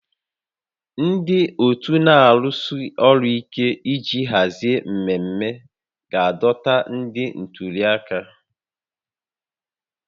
Ndị otu na-arụsi ọrụ ike iji hazie mmemme ga-adọta ndị ntuli aka